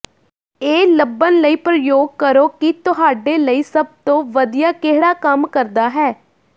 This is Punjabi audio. ਇਹ ਲੱਭਣ ਲਈ ਪ੍ਰਯੋਗ ਕਰੋ ਕਿ ਤੁਹਾਡੇ ਲਈ ਸਭ ਤੋਂ ਵਧੀਆ ਕਿਹੜਾ ਕੰਮ ਕਰਦਾ ਹੈ